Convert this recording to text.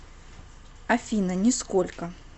афина нисколько